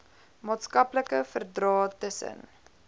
maatskaplike verdrae tussen